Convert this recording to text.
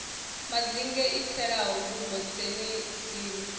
madzinge i tselaho dubo dzenedziḽa